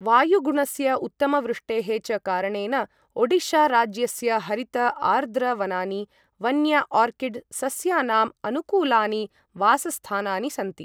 वायुगुणस्य, उत्तम वृष्टेः च कारणेन ओडिशा राज्यस्य हरित आर्द्र वनानि वन्य आर्किड् सस्यानाम् अनुकूलानि वासस्थानानि सन्ति।